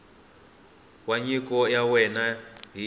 wa nyiko ya wena ni